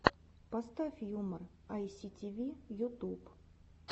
поставь юмор айситиви ютуб